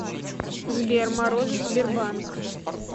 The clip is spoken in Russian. сбер морозов сбербанк